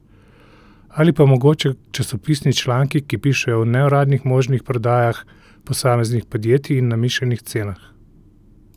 Ali pa mogoče časopisni članki, ki pišejo o neuradnih možnih prodajah posameznih podjetij in namišljenih cenah?